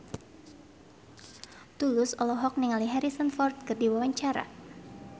Tulus olohok ningali Harrison Ford keur diwawancara